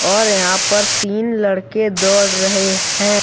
और यहाँ पर तीन लड़के दौड़ रहे हैं।